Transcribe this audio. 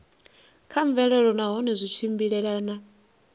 kha mvelelo nahone zwi tshimbilelana